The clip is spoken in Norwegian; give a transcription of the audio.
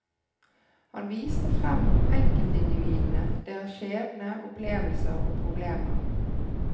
Han viste frem enkeltindividene, deres skjebne, opplevelser og problemer.